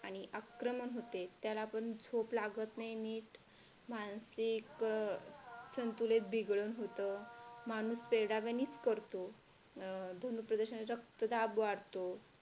आणि आक्रमक होते त्याला पण झोप लागत नाही नीट मानसिक संतुलन बिघडण होतं माणूस वेड्यावानी करतो दोन्ही प्रदूषणाचा रक्तदाब वाढतो.